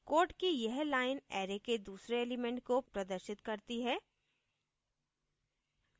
code की यह line array के दूसरे element को प्रदर्शित करती है